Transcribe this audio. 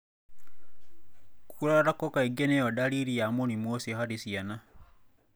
Kũrarako kaingĩ niyo dariri ya mũrimũ ucio harĩ ciana.